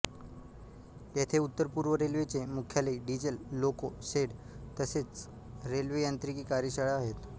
येथे उत्तर पूर्व रेल्वेचे मुख्यालय डीझेल लोको शेड तसेच रेल्वे यांत्रिकी कार्यशाळा आहेत